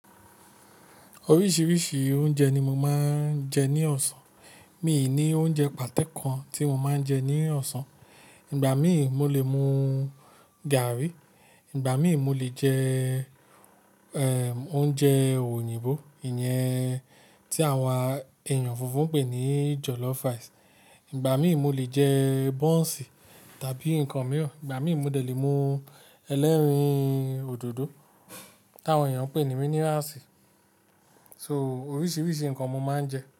Oríṣìíríṣìí oúnjẹ ni mo máa ń jẹ ní ọ̀sán. Mi ní oúnjẹ pàto kan tí mo máa ń jẹ ní ọ̀sán. Ìgbà míì mo lè mú gaàrí, ìgbà míì mo lè jẹ, oúnjẹ òyìnbó, ìyẹn tí àwọn èèyàn funfun pè ní jollof rice. Ìgbà míì mo lè jẹ bọ́ǹsì tàbí nǹkan mìíràn, ìgbà míì mo dè le mú ẹlẹ́rìndòdò tí àwọn èèyàn pè ní minerals. So, oríṣìíríṣìí nǹkan mo máa ń jẹ.